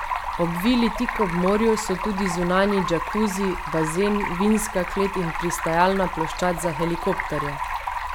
Ob vili tik ob morju so tudi zunanji džakuzi, bazen, vinska klet in pristajalna ploščad za helikopterje.